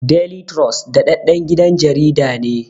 Deli turos daɗaɗɗen gidan jarida ne